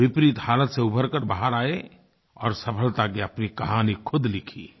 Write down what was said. वो विपरीत हालात से उबर कर बाहर आए और सफलता की अपनी कहानी ख़ुद लिखी